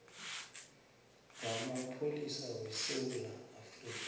wamapholisa wesewula afrika